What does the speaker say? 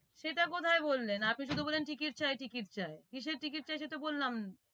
সেটা কোথায় বললেন আপনি শুধু বললেন ticket চাই ticket চাই কিসের ticket চাই সেতো বললাম